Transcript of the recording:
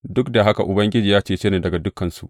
Duk da haka Ubangiji ya cece ni daga dukansu.